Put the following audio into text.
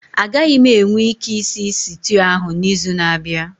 Agaghị m enwe ike ịsị sịtịụ ahụ n'izu na-abịa